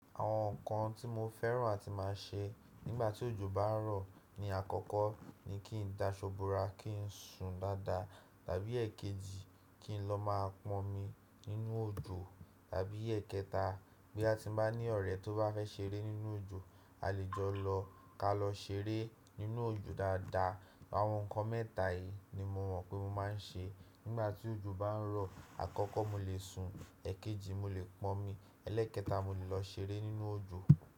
Àwọn nǹkan tí mo fẹ́ràn àti má a ṣe nígbà tí òjò bá ń rọ̀ ni àkọ́kọ́ ni kí n dá ṣobura kí n sùn dáadáa. Tàbí èkejì kí n lọ má a pọn omi nínú òjò. Tàbí èkẹta bí a ti bá ní ọ̀rẹ́ tó bá fẹ́ ṣeré nínú òjò a lè jọ lọ ká lọ ṣeré nínú òjò dáadáa. Àwọn nǹkan mẹ́ta yìí ni mo mọ̀ pé mo máa ń ṣe nígbà tí òjò bá ń rọ̀. Àkọ́kọ́ mo lè sùn, èkejì mo lè pọn omi, ẹlẹ́ẹ̀kẹta mo lè lọ ṣeré nínú òjò.